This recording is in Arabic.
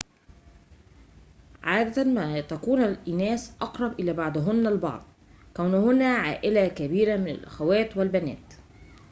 عادة ما تكون الإناث أقرب إلى بعضهن البعض كونهنّ عائلة كبيرة من الأخوات والبنات